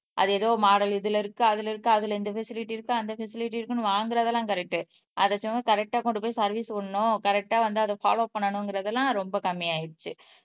அது ஏதோ மாடல் இதுல இருக்கு அதுல இருக்கு அதுல இந்த பெசிலிட்டி இருக்கு அந்த பெசிலிட்டி இருக்குன்னு வாங்குறதெல்லாம் கரெக்ட் கரெக்ட்டா கொண்டு போய் சர்வீஸ் விடணும் கரெக்ட்டா வந்து அதை போலோவ் பண்ணணும்ங்கிறது எல்லாம் ரொம்ப கம்மி ஆயிடுச்சு